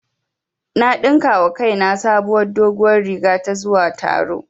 Na ɗinka wa kaina sabuwar doguwar riga ta zuwa taro